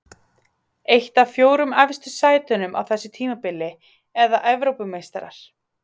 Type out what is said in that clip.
Eitt af fjórum efstu sætunum á þessu tímabili eða Evrópumeistarar?